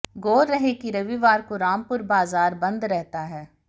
गौर रहे कि रविवार को रामपुर बाजार बंद रहता है